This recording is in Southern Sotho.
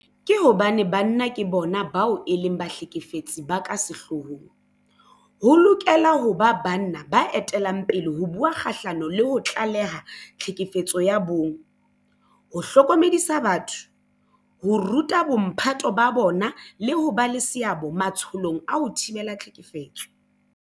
Ka hobane banna ke bona bao e leng bahlekefetsi ba ka sehloohong, ho lokela ho ba banna ba etellang pele ho bua kgahlano le ho tlaleha tlhekefetso ya bong, ho hlokomedisa batho, ho ruta bomphato ba bona le ho ba le seabo matsholong a ho thibela tlhekefetso.